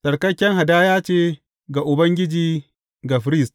Tsarkaken hadaya ce ga Ubangiji ga firist.